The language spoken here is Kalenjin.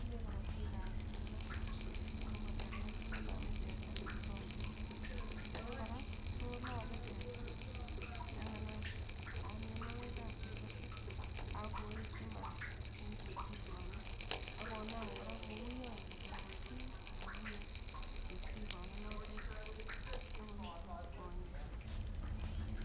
kule korotikap tuga kerbesik pakotaren koname teta kosagite. Kiit age kora ko lole teta yon kanam kora mionwagikap kerbesik ak koetyin mat en cheptigonet ak konam kora kouyony teta korotik yon tinye cheptigononotet ak korirtos konyek